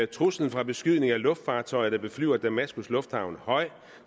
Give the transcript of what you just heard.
truslen fra beskydning af luftfartøjer der beflyver damaskus lufthavn er høj